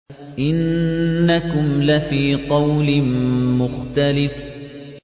إِنَّكُمْ لَفِي قَوْلٍ مُّخْتَلِفٍ